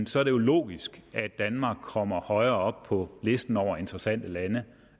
så er det jo logisk at danmark kommer højere op på listen af interessante lande